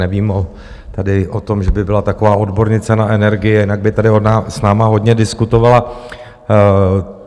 Nevím tedy o tom, že by byla taková odbornice na energie, jinak by tady s námi hodně diskutovala.